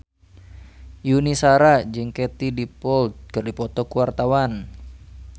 Yuni Shara jeung Katie Dippold keur dipoto ku wartawan